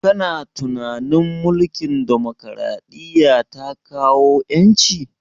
Kana tunanin mulkin demokaraɗiya ta kawo ƴanci?